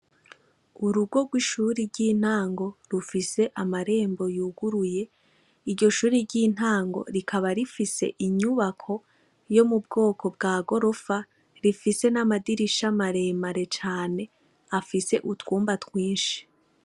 Urugo gw’ishuri y’intango rufise amarembo yuguruye , iryo shuri ryintango rikaba rifise inyubako yo mubwoko bwa gorofa rifise n’amadirisha maremare cane afise utwumba twinshi.